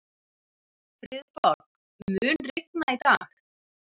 Friðborg, mun rigna í dag?